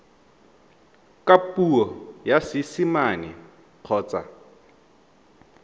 ka puo ya seesimane kgotsa